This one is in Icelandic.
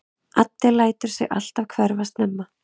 Addi lætur sig alltaf hverfa snemma.